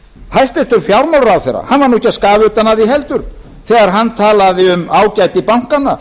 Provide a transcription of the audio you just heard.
hæstvirtur fjármálaráðherra var ekki að skafa utan af því heldur þegar hann talaði um ágæti bankanna